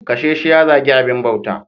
Kashe shi ya zagi abin bauta.